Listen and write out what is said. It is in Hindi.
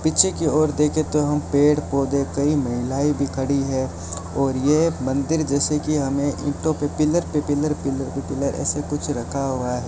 पीछे की ओर देखे तो हम पेड़ पौधे कई महिलाएं भी खड़ी है और यह मंदिर जैसे कि हमें ईंटो पर पिलर पे पिलर पिलर पे पिलर ऐसे कुछ रखा हुआ है।